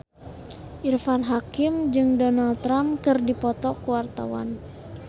Irfan Hakim jeung Donald Trump keur dipoto ku wartawan